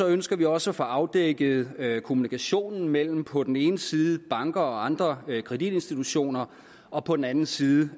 ønsker vi også at få afdækket kommunikationen mellem på den ene side banker og andre kreditinstitutioner og på den anden side